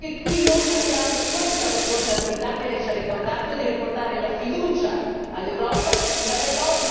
Perché io credo che qui noi abbiamo questa responsabilità, che lei ci ha ricordato, di ridare la fiducia all'Europa.